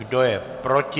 Kdo je proti?